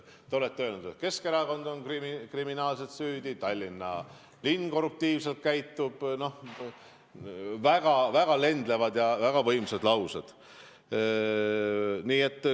Te olete öelnud, et Keskerakond on kriminaalselt süüdi, Tallinna linn käitub korruptiivselt – väga lendlevad ja väga võimsad laused.